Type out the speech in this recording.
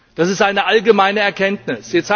Das ist eine allgemeine Erkenntnis.